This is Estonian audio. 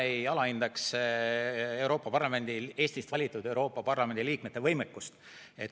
Ma ei alahindaks Eestist valitud Euroopa Parlamendi liikmete võimekust.